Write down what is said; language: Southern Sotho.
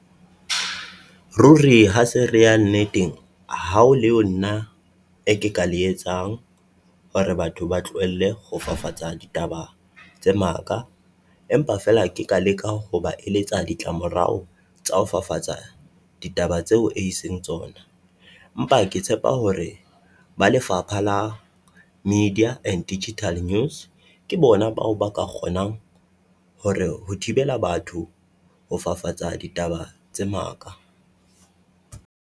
Ruri ha se re ya nneteng hao leo nna e ke ka le etsang hore batho ba tlohelle ho fafatsa ditaba tsa maka. Empa feela ke ka leka ho ba eletsa ditlamorao tsa ho fafatsa ditaba tseo e seng tsona. Empa ke tshepa hore ba lefapha la Media and Digital News ke bona bao ba ka kgonang hore ho thibela batho ho fafatsa ditaba tse maka.